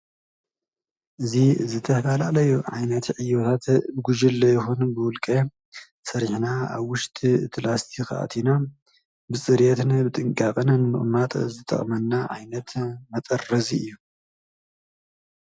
እዚ ዝተፈላለዩ ዓይነት ዕዮታት ብጉጅለ ይኹን ብውልቀ ሰሪሕና ኣብ ውሽጢ ላስቲክ ኣእቲና ብፅርየትን ብጥንቃቐንን ንምቕማጥ ዝጠቕመና ዓይነት መጠረዚ እዩ::